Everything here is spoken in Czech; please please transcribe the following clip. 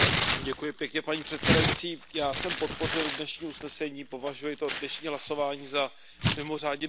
Paní předsedající, já jsem podpořil dnešní usnesení, považuji to dnešní hlasování za mimořádně důležité.